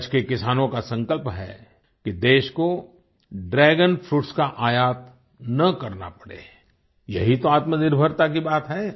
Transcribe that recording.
कच्छ के किसानों का संकल्प है कि देश को ड्रैगन फ्रूट्स का आयात ना करना पड़े यही तो आत्मनिर्भरता की बात है